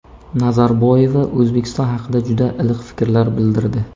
Nazarboyeva O‘zbekiston haqida juda iliq fikrlar bildirdi.